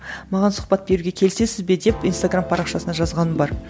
маған сұхбат беруге келісесіз бе деп инстаграмм парақшасына жазғаным бар